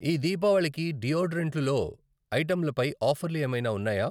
ఈ దీపావళికి డియోడరెంట్లు లో ఐటంలపై ఆఫర్లు ఏమైనా ఉన్నాయా?